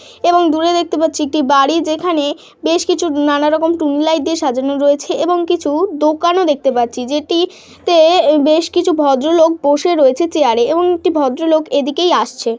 এবং দূরে দেখতে পাচ্ছি একটি বাড়ি যেখানে বেশ কিছু নানা রকম টুনি লাইট দিয়ে সাজানো রয়েছে এবং কিছু দোকানও দেখতে পাচ্ছি যেটি তে বেশ কিছু ভদ্রলোক বসে রয়েছে চেয়ারে এমন একটি ভদ্রলোক এদিকেই আসছে।